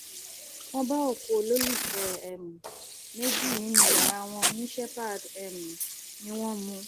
wọn bá òkú olólùfẹ um méjì nínú yàrá wọn ní shepherd um ni wọn mu